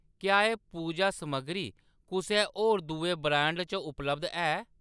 क्या एह्‌‌ पूजा समग्गरी कुसै होर दुए ब्रांड च उपलब्ध है ?